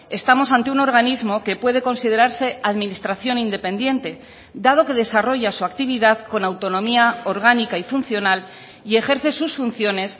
estamos ante un organismo que puede considerarse administración independiente dado que desarrolla su actividad con autonomía orgánica y funcional y ejerce sus funciones